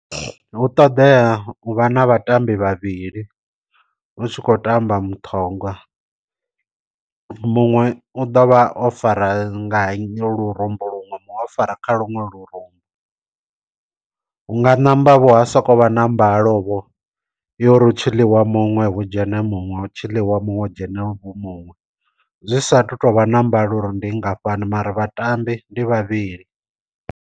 Hu ṱoḓea u vha na vhatambi vhavhili u tshi khou tamba muṱhongwa, muṅwe u ḓovha o fara nga nnyi lurumbu luṅwe muṅwe o fara kha luṅwe lurumbu, hu nga ṋamba vho ha soko vha ṋambalo vho yori hu tshiḽiwa muṅwe hu dzhene muṅwe hu tshiḽiwa muṅwe dzhene vho muṅwe, zwi sa tu tovha na mbalo uri ndi ngafhani mara vhatambi ndi vhavhili.